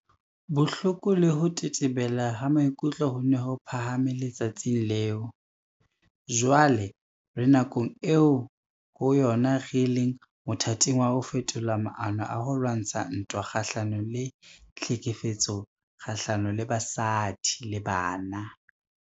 Bohloko le ho tetebela ha maikutlo ho ne ho phahame le-tsatsing leo. Jwale re nakong eo ho yona re leng mothating wa ho fetola maano a ho lwantsha ntwa kga-hlanong le GBVF.